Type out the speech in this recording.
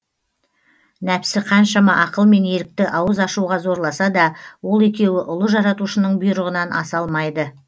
нәпсі қаншама ақыл мен ерікті ауыз ашуға зорласа да ол екеуі ұлы жаратушының бұйрығынан аса алмайды